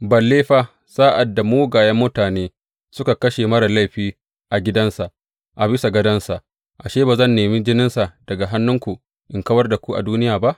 Balle fa, sa’ad da mugayen mutane suka kashe marar laifi a gidansa, a bisa gadonsa, ashe, ba zan nemi jininsa daga hannunku in kawar da ku a duniya ba!